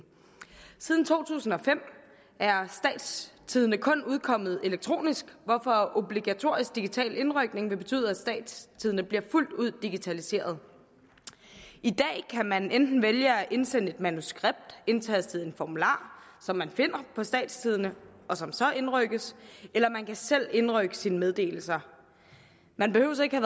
siden to tusind og fem er statstidende kun udkommet elektronisk hvorfor obligatorisk digital indrykning vil betyde at statstidende bliver fuldt ud digitaliseret i dag kan man enten vælge at indsende et manuskript indtaste en formular som man finder på statstidende og som så indrykkes eller man kan selv indrykke sine meddelelser man behøver ikke at